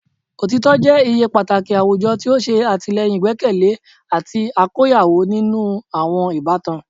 Otitọ jẹ iye pataki awujọ ti o ṣe atilẹyin igbẹkẹle ati akoyawo ninu awọn ibatan